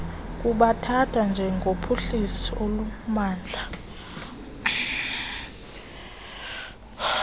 kubathatha njengophuhliso olumandla